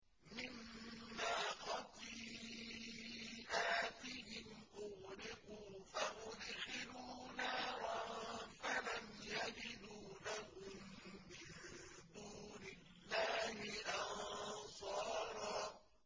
مِّمَّا خَطِيئَاتِهِمْ أُغْرِقُوا فَأُدْخِلُوا نَارًا فَلَمْ يَجِدُوا لَهُم مِّن دُونِ اللَّهِ أَنصَارًا